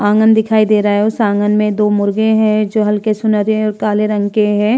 आँगन दिखाई दे रहा है उस आँगन में दो मुर्गे हैं जो हलके सुनहरे और काले रंग के हैं।